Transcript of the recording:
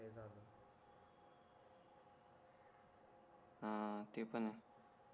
हां ते पण आहे